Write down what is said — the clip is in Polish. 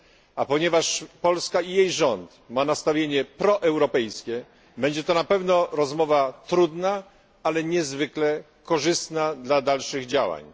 a ponieważ Polska i jej rząd mają nastawienie proeuropejskie, będzie to na pewno rozmowa trudna, ale niezwykle korzystna dla dalszych działań.